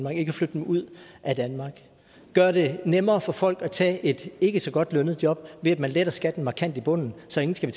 og ikke flytte dem ud af danmark og det nemmere for folk at tage et ikke så godt lønnet job ved at lette skatten markant i bunden så ingen skal